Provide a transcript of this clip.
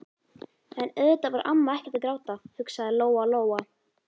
En auðvitað var amma ekkert að gráta, hugsaði Lóa Lóa.